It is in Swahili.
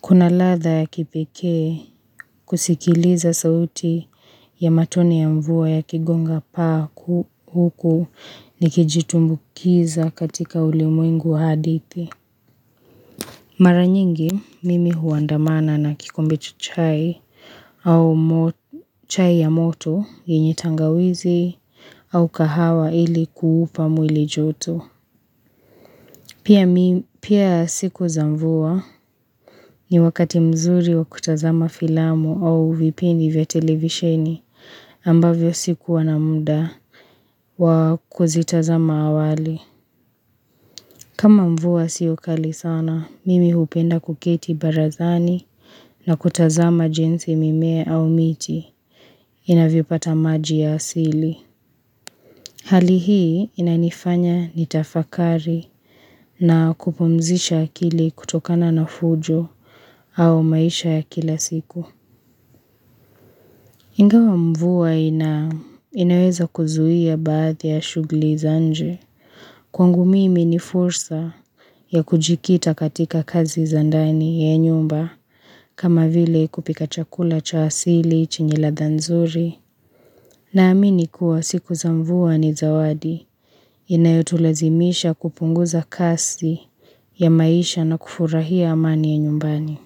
Kuna ladha ya kipekee kusikiliza sauti ya matone ya mvua yakigonga paa huku nikijitumbukiza katika ulimwengu wa hadithi. Mara nyingi mimi huandamana na kikombe chai au chai ya moto yenye tangawizi au kahawa ili kuupa mwili joto. Pia siku za mvua ni wakati mzuri wa kutazama filamu au vipindi vya televisheni ambavyo sikuwa na muda wa kuzitazama awali. Kama mvua sio kali sana, mimi hupenda kuketi barazani na kutazama jinsi mimea au miti inavyopata maji ya asili. Hali hii inanifanya nitafakari na kupumzisha akili kutokana na fujo au maisha ya kila siku. Ingawa mvua inaweza kuzuia baadhi ya shugli za nje. Kwangu mimi ni fursa ya kujikita katika kazi za ndani ya nyumba kama vile kupika chakula cha asili chenye ladha nzuri. Naamini kuwa siku za mvua ni zawadi inayotulazimisha kupunguza kasi ya maisha na kufurahia amani ya nyumbani.